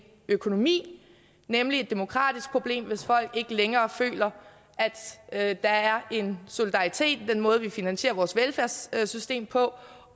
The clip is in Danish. økonomi nemlig et demokratisk problem hvis folk ikke længere føler at der er en solidaritet ved den måde vi finansierer vores velfærdssystem på